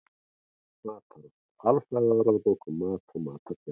Matarást: Alfræðibók um mat og matargerð.